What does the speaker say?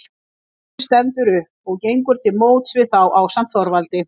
Grímur stendur upp og gengur til móts við þá ásamt Þorvaldi.